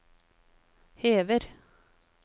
hever